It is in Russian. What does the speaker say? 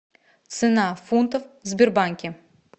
цена фунтов в сбербанке